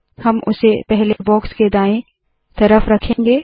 हम उसे पहले बॉक्स के दाएँ तरफ रखेंगे